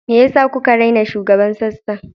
Me yasa kuka raina shugaban sassan?